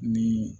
Ni